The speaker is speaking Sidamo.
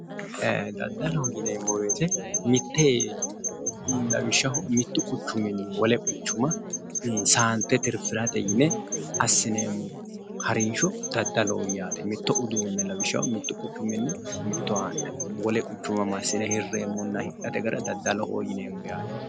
Ee daddalloho yineemmo woyte mite lawishshaho mitu quchumini wole quchuma saante tirifirate yinne assineemmo harinsho daddalloho yineemmo yaate, mitto uduune lawishshaho mitu quchumini mittowa haa'ne wole quchuma massine hirreemmonna hidhate gara daddalloho yineemmo yaate.